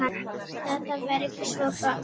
Ég vildi að það væri svo gott.